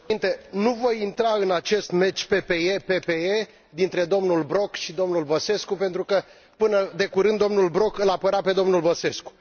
Domnule președinte, nu voi intra în acest meci PPE PPE dintre domnul Brok și domnul Băsescu pentru că, până de curând, domnul Brok îl apăra pe domnul Băsescu.